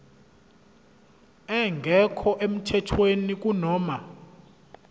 engekho emthethweni kunoma